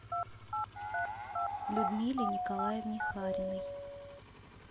людмиле николаевне хариной